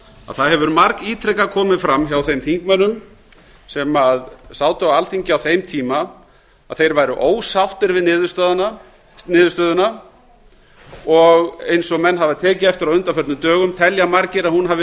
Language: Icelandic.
að það hefur margítrekað komið fram hjá þeim þingmönnum sem sátu á alþingi á þeim tíma að þeir væru ósáttir við niðurstöðuna og eins og menn hafa tekið eftir á undanförnum dögum telja margir að hún hafi